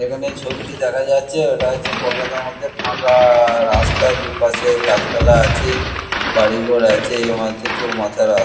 এখানে ছবিটি দেখা যাচ্ছে ওটা হচ্ছে কলকাতার মধ্যে ফাঁকা-আ-আ রাস্তা দুপাশে গাছপালা আছে বাড়িঘর আছে মনে হচ্ছে চৌমাথার রাস--